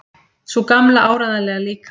Sú Gamla áreiðanlega líka.